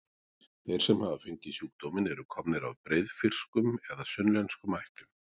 Þeir sem hafa fengið sjúkdóminn eru komnir af breiðfirskum eða sunnlenskum ættum.